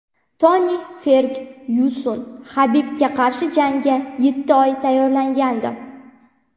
Toni Fergyuson: Habibga qarshi jangga yetti oy tayyorlangandim.